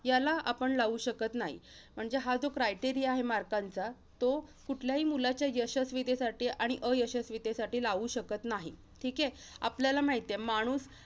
याला आपण लावू शकत नाही. म्हणजे हा जो criteria आहे marks चा, तो कुठल्याही मुलाच्या यशस्वितेसाठी आणि अयशस्वितेसाठी लावू शकत नाही. ठीके? आपल्याला माहित आहे, माणूस